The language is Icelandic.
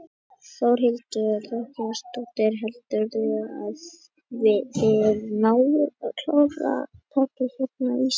Þórhildur Þorkelsdóttir: Heldurðu að þið náið að klára að taka hérna ísinn fyrir jól?